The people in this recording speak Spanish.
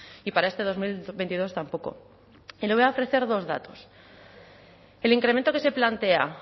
y para este dos mil veintidós tampoco y le voy a ofrecer dos datos el incremento que se plantea